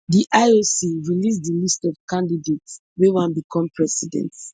di ioc release di list of candidates wey wan become president